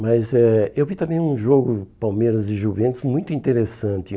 Mas eh eu vi também um jogo Palmeiras e Juventus muito interessante.